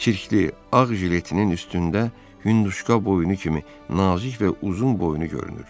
Çirkli ağ jiletinin üstündə hündüşka boynu kimi nazik və uzun boynu görünür.